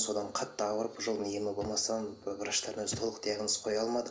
содан қатты ауырып врачтардан диагноз қоя алмады